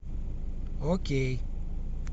окей